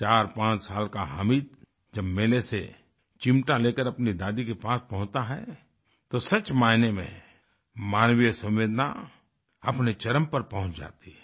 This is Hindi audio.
45 साल का हामिद जब मेले से चिमटा लेकर अपनी दादी के पास पहुँचता है तो सच मायने में मानवीय संवेदना अपने चरम पर पहुँच जाती है